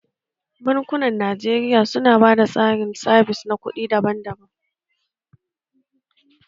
Bankunan Najeriya su na ba da tsarin sabis na kuɗi iri daban daban.